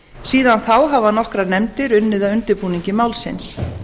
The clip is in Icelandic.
síðan þá hafa nokkrar nefndir unnið að undirbúningi málsins